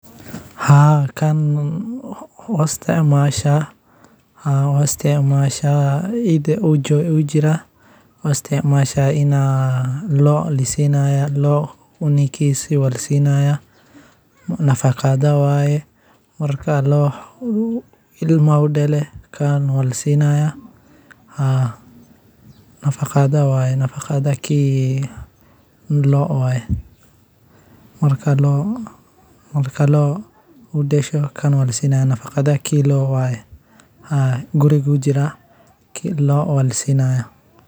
haa kan ma isticmasha. haa wan isticmaala idho uji laugisticmali kara xita xayawanada sida okale lasiiya nafaqo weye looda markey cunug dasho wa lasiini. nafaqadha loodha waye. markey looda dasho kan lasiinya haa loo lasinaya